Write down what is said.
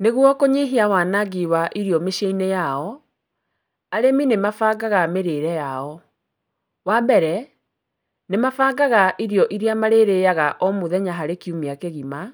Nĩguo kũnyihia wanangi wa irio mĩcii-inĩ yao arĩmi nĩmabangaga mĩrĩre yao. Wa mbere nĩmabangaga irio iria marĩrĩyaga o mũthenya harĩ kiumia kĩgima,